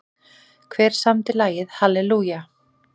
Hver samdi lagið Hallelujah?